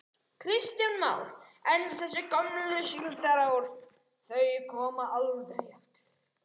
Kristján Már: En þessi gömlu síldarár, þau koma aldrei aftur?